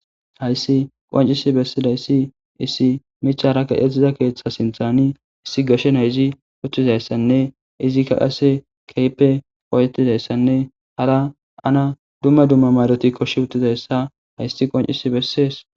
Hayssi qoncisi bessidayssi iisi michara gaetziza keeththa sinthani issi gashe nayzi uththizayssanne izikka qase keyppe oyetizayssanne hara ana dumma dumma maroti koshi uttizayssa hayssi qoncisi bessees.